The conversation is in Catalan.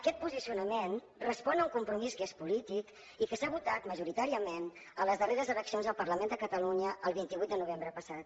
aquest posicionament respon a un compromís que és polític i que s’ha votat majoritàriament a les darreres eleccions al parlament de catalunya el vint vuit de novembre passat